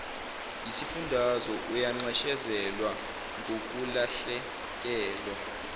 yisifundazwe uyanxeshezelwa ngokulahlekelwa